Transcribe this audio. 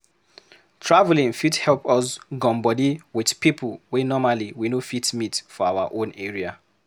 Traveling fit help us gum body with people wey normally we no fit meet for our own area